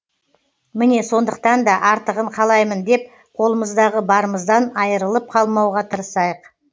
міне сондықтан да артығын қалаймын деп қолымыздағы барымыздан айырылып қалмауға тырысайық